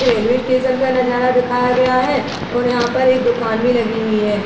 Railway station का नजारा दिखाया गया है और यहाँ पर एक दुकान भी लगी हुई है।